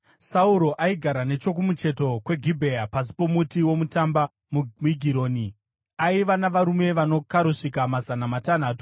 Sauro aigara nechokumucheto kweGibhea pasi pomuti womutamba muMigironi. Aiva navarume vanokarosvika mazana matanhatu,